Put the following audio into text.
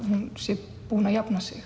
hún sé búin að jafna sig